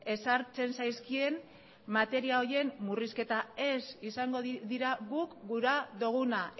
ezartzen zaizkien materia horiek murrizketa ez izango dira guk gura duguna